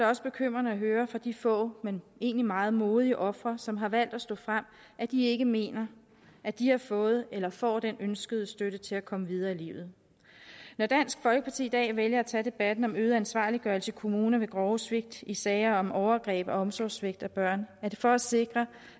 også bekymrende at høre fra de få men egentlig meget modige ofre som har valgt at stå frem at de ikke mener at de har fået eller får den ønskede støtte til at komme videre i livet når dansk folkeparti i dag vælger at tage debatten om øget ansvarliggørelse i kommuner ved grove svigt i sager om overgreb og omsorgssvigt af børn er det for at sikre